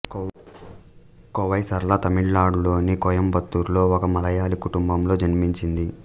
కోవై సరళ తమిళనాడులోని కోయంబత్తూరులో ఒక మలయాళీ కుటుంబంలో జన్మించింది